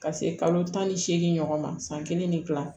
Ka se kalo tan ni seegin ɲɔgɔn ma san kelen ni kila